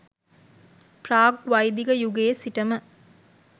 ප්‍රාග් වෛදික යුගයේ සිටම